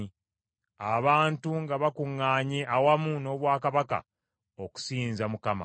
abantu nga bakuŋŋaanye, awamu n’obwakabaka, okusinza Mukama .